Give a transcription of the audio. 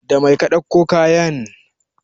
Da mai ka ɗauko kayan?